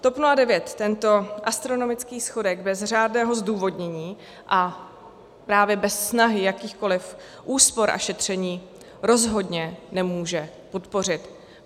TOP 09 tento astronomický schodek bez řádného zdůvodnění a právě bez snahy jakýchkoliv úspor a šetření rozhodně nemůže podpořit.